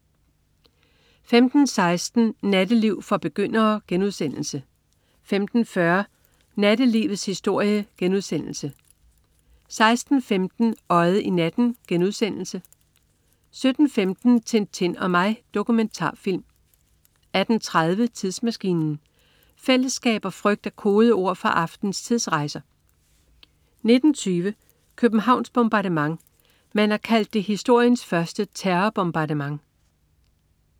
15.16 Natteliv for begyndere* 15.40 Nattelivets historie* 16.15 Øjet i Natten* 17.15 Tintin og mig. Dokumentarfilm 18.30 Tidsmaskinen. Fællesskab og frygt er kodeord for aftenens tidsrejser 19.20 Københavns bombardement. Man har kaldt det historiens første terrorbombardement